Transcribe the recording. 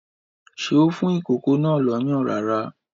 Ṣé ó fún ìkókó náà lọ́yàn rárá?